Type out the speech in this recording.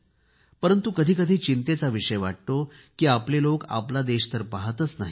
परंतु कधी कधी चिंतेचा विषय वाटतो की आपले लोक तर आपला देश पहातच नाहीत